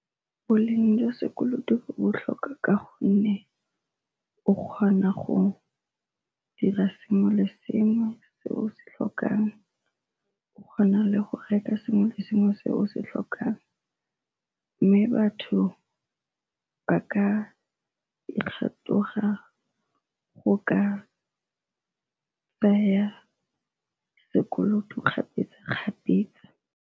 Boleng jwa sekoloto bo botlhokwa ka gonne o kgona go dira sengwe le sengwe se o se tlhokang o kgona le go reka sengwe le sengwe se o se tlhokang, mme batho ba ka go ka tsaya sekoloto kgapetsa-kgapetsa.